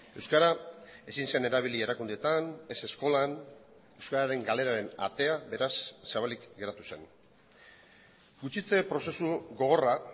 euskara ezin zen erabili erakundeetan ez eskolan euskararen galeraren atea beraz zabalik geratu zen gutxitze prozesu gogorra